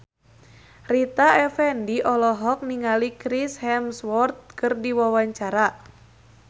Rita Effendy olohok ningali Chris Hemsworth keur diwawancara